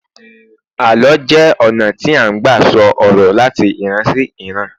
àlọ jé ona ti a n gba sọ ọrọ lati ìran sí iran